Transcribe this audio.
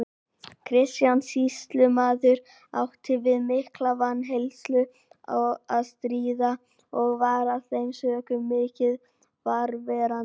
Kristján sýslumaður átti við mikla vanheilsu að stríða og var af þeim sökum mikið fjarverandi.